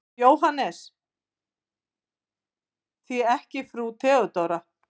JÓHANNES: Því ekki frú Theodóra?